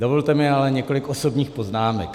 Dovolte mi ale několik osobních poznámek.